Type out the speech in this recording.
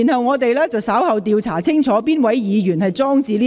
我們稍後會調查是哪位議員放置該物件。